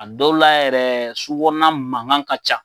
A dɔw la yɛrɛ sugu kɔnɔna makan ka ca.